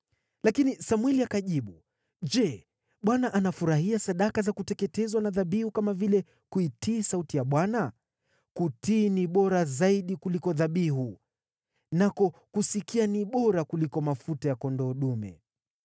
Lakini Samweli akajibu: “Je, Bwana anafurahia sadaka za kuteketezwa na dhabihu kama vile kuitii sauti ya Bwana ? Kutii ni bora zaidi kuliko dhabihu, nako kusikia ni bora kuliko mafuta ya kondoo dume.